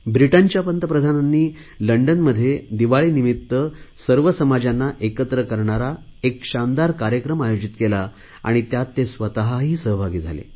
ब्रिटनच्या पंतप्रधानांनी लंडनमध्ये दिवाळीनिमित्त सर्व समाजांना एकत्र करणारा एक शानदार कार्यक्रम आयोजित केला आणि त्यात ते स्वतही सहभागी झाले